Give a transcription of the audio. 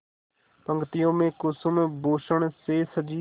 पंक्तियों में कुसुमभूषण से सजी